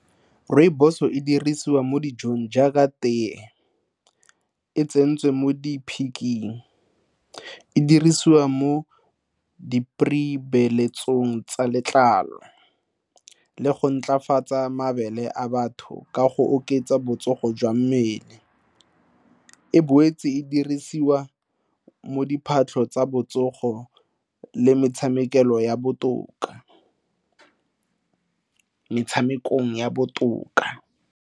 Rooibos-o e dirisiwa mo dijong jaaka tee, e tsentswe mo diphiking, e dirisiwa mo di tsa letlalo le go ntlafatsa mabele a batho ka go oketsa botsogo jwa mmele. E boetse e dirisiwa mo diphatlho tsa botsogo le metshamekong ya botoka.